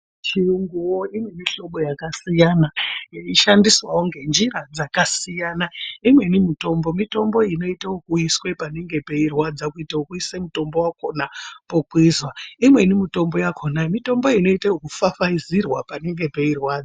Chiyunguyo inomuhlobo yakasiyana, yeishandiswavo nenjira dzakasiyana, imweni mitombo, mitombo inoito wokuiswe panenge peirwadza, kuita wokuiso mutombowakona pokwiza, imweni mitombo yakona mitombo yekufafaidzirwa panenge pairwadza.